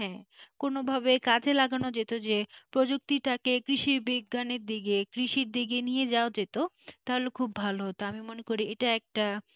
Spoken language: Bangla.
কোনভাবে কাজে লাগানো যেতে যে প্রযুক্তিটাকে কৃষি বিজ্ঞানে দিকে কৃষির দিকে নিয়ে যাওয়া যেত তাহলে খুব ভালো হতো তো আমি মনে করি এটা একটা।